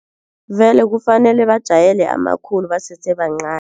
Vele kufanele bajayele amakhulu basese bancani.